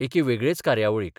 एके वेगळेच कार्यावळीक.